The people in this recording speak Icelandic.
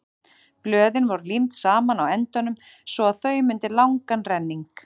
blöðin voru límd saman á endunum svo að þau mynduðu langan renning